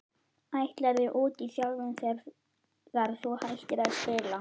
Ætlarðu út í þjálfun þegar að þú hættir að spila?